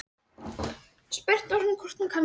Spurt var hvort hún kannaðist við það?